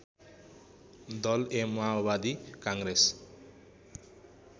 दल एमाओवादी काङ्ग्रेस